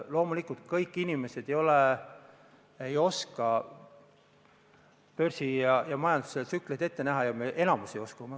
Loomulikult kõik inimesed ei oska börsi ja majanduse tsükleid ette näha, meist enamik ei oska.